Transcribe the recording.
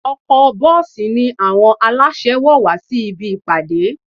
Ọkọ̀-bọ́ọ̀sì ni àwọn aláṣẹ wọ̀ wá sí ibi ìpàdé